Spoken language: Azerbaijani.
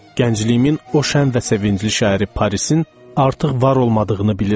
Gəncliyimin o şən və sevincli şəhəri Parisin artıq var olmadığını bilirəm.